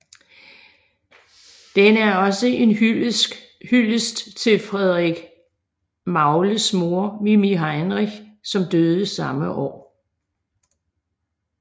Den er også en hyldest til Frederik Magles mor Mimi Heinrich som døde samme år